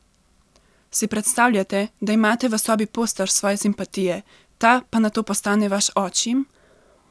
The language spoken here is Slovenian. Si predstavljate, da imate v sobi poster svoje simpatije, ta pa nato postane vaš očim?